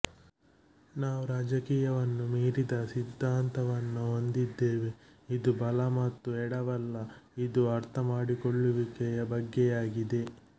ನಾವು ರಾಜಕೀಯವನ್ನು ಮೀರಿದ ಸಿದ್ದಾಂತವನ್ನು ಹೊಂದಿದ್ದೇವೆ ಇದು ಬಲ ಮತ್ತು ಎಡವಲ್ಲ ಇದು ಅರ್ಥಮಾಡಿಕೊಳ್ಳುವಿಕೆಯ ಬಗ್ಗೆಯಾಗಿದೆ